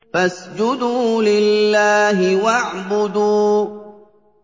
فَاسْجُدُوا لِلَّهِ وَاعْبُدُوا ۩